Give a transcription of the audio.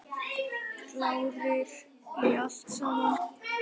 Klárir í allt saman?